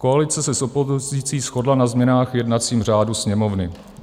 Koalice se s opozicí shodla na změnách v jednacím řádu Sněmovny.